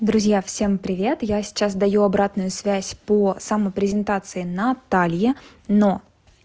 друзья всем привет я сейчас даю обратную связь по самопрезентации натальи но